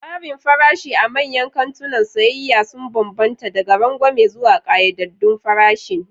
Tsarin farashi a manyan kantunan sayayya sun bambanta, daga rangwame zuwa ƙayyadaddun farashin.